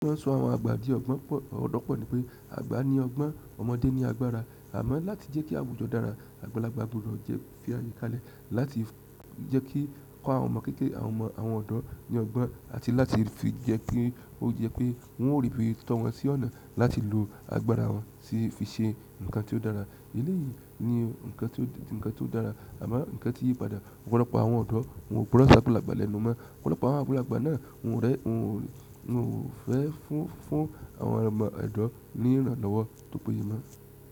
Wọ́n sọ àwọn àgbàdí ọgbọ́n pọ̀, ọ̀gbon po ní pé àgbà ní ọgbọ́n, ọmọdé ní agbára. Àmọ́ láti jẹ́ kí àwùjọ dára, àgbàlagbà gbọdọ̀ fi àyíká lẹ́ láti jẹ́ kí ọkọ àwọn ọmọ kékeré àwọn ọmọ àwọn ọ̀dọ́ ní ọgbọ́n àti láti fi jẹ́ pé ó jẹ́ pé wọn ó ríi fí títọ́ wọn sí ọ̀nà láti lo agbára wọn sí fi ṣe nǹkan tí ó dára. Eléyìí ni nǹkan tí ó dára, àmọ́ nǹkan tí yí padà. Ọ̀pọ̀lọpọ̀ àwọn ọ̀dọ́ wọn o gboran si agbalàgbà lẹ́nu mọ́. Ọ̀pọ̀lọpọ̀ àwọn àgbàlagbà náà wọn ò rẹ́, wọn ò fẹ́ fún fún àwọn ọmọ odọ̀ ní ìrànlọ́wọ́ tó péye mọ́.